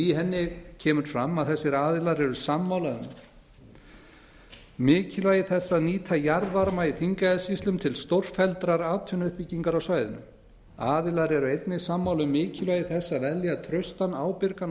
í henni kemur fram að þessir aðilar eru sammála um mikilvægi þess að nýta jarðvarma í þingeyjarsýslum til stórfelldrar atvinnuuppbyggingar á svæðinu aðilar eru einnig sammála um mikilvægi þess að velja traustan ábyrgan og